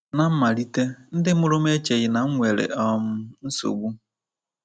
Ná mmalite, ndị mụrụ m echeghị na m nwere um nsogbu.